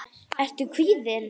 Ertu kvíðinn?